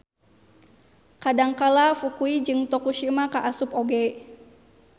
Kadangkala Fukui jeung Tokushima kaasup oge